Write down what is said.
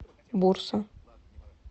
бурса